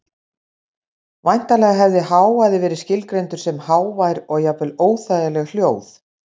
Væntanlega hefði hávaði verið skilgreindur sem hávær og jafnvel óþægileg hljóð.